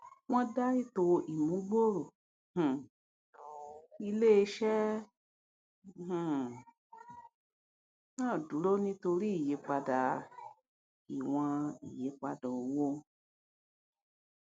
wọn dá ètò ìmugbooro um iléiṣẹ um náà dúró nítorí ìyípadà ìwọn ìyípadà owó